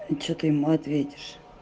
и что ты ему ответишь